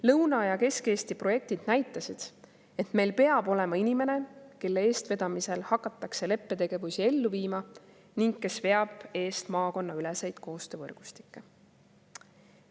Lõuna‑ ja Kesk-Eesti projektid näitasid, et meil peab olema inimene, kelle eestvedamisel hakatakse leppe tegevusi ellu viima ning kes veab eest maakonnaüleseid koostöövõrgustikke.